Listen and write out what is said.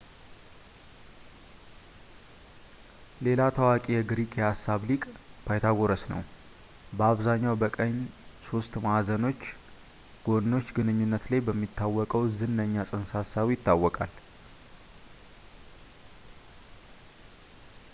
ሌላ ታዋቂ ግሪክ የሂሳብ ሊቅ ፓይታጎረስ ነው ፣ በአብዛኛው በቀኝ ሦስት ማዕዘኖች ጎኖች ግንኙነት ላይ በሚታወቀው ዝነኛ ፅንሰ-ሀሳቡ ይታወቃል